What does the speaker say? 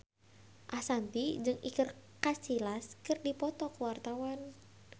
Ashanti jeung Iker Casillas keur dipoto ku wartawan